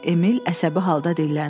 Emil əsəbi halda dilləndi.